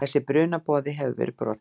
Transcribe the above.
Þessi brunaboði hefur verið brotinn.